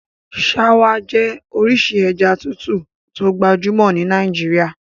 Ṣáwá jẹ́ orísìí ẹja tútù tó gbajúmọ̀ ní Nàìjíríà.